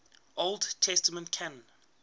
old testament canon